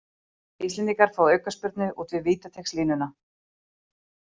Íslendingar fá aukaspyrnu út við vítateigslínuna